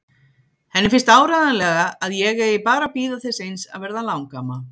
Henni finnst áreiðanlega að ég eigi bara að bíða þess eins að verða langamma.